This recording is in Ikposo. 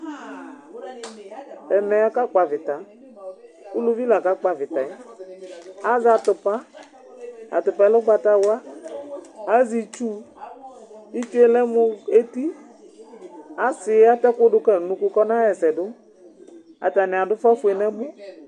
Ɛmɛ ɔka kpɔ avita, uluvi la ka kpɔ avita yɛ, azɛ atupa, atupa yɛ lɛ ugbata wla, azɛ itsu, itsʋe lɛ mu eti, asiyɛ atɛku du ka nu unuku kɔ na ɣa ɛsɛ du , ata ni adu ufa fue ni bi